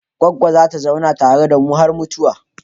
Goggona za ta zauna tare da mu har mutuwa.